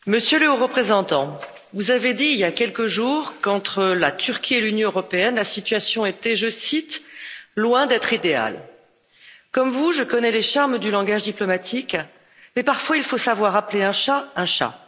Monsieur le Président, Monsieur le Haut représentant, vous avez dit, il y a quelques jours, qu'entre la Turquie et l'Union européenne, la situation était, je cite, loin d'être idéale. Comme vous, je connais les charmes du langage diplomatique, mais parfois il faut savoir appeler un chat un chat.